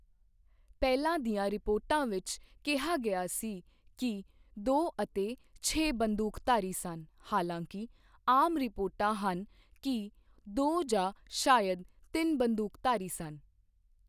ਪਹਿਲਾਂ ਦੀਆਂ ਰਿਪੋਰਟਾਂ ਵਿੱਚ ਕਿਹਾ ਗਿਆ ਸੀ ਕਿ ਦੋ ਅਤੇ ਛੇ ਬੰਦੂਕਧਾਰੀ ਸਨ, ਹਾਲਾਂਕਿ, ਆਮ ਰਿਪੋਰਟਾਂ ਹਨ ਕਿ ਦੋ ਜਾਂ ਸ਼ਾਇਦ ਤਿੰਨ ਬੰਦੂਕਧਾਰੀ ਸਨ।